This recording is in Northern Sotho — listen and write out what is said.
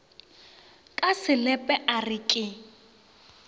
ka selepe a re ke